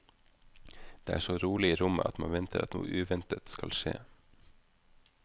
Det er så rolig i rommet at man venter at noe uventet skal skje.